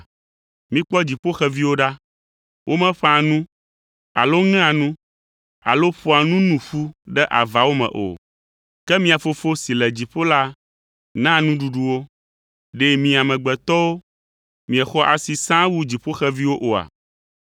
Mikpɔ dziƒoxeviwo ɖa; womeƒãa nu alo ŋea nu alo ƒoa nu nu ƒu ɖe avawo me o. Ke mia Fofo si le dziƒo la naa nuɖuɖu wo. Ɖe mi amegbetɔwo miexɔ asi sãa wu dziƒoxeviwo oa?